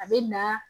A bɛ na